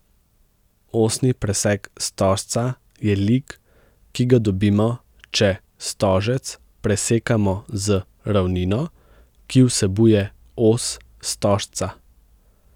Osni presek stožca je lik, ki ga dobimo, če stožec presekamo z ravnino, ki vsebuje os stožca.